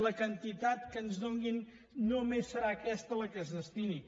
la quantitat que ens donin només serà aquesta la que s’hi destini